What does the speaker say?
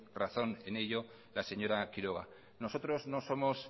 razón en ello la señora quiroga nosotros no somos